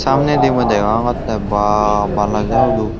samnedi mui degongotte baa bana jagaluk.